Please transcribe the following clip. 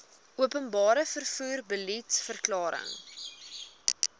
openbare vervoer beliedsverklaring